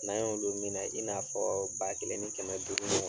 N'a y'olu minɛ i n'a fɔ ba kelen ni kɛmɛ dugu ɲɔgɔnna.